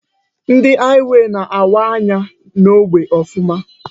Ndị haịwey na-awa anya n'ógbè Ọfụma.